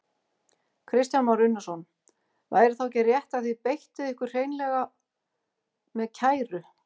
Kristján Már Unnarsson: Væri þá ekki rétt að þið beittuð ykkur hreinlega með kæru?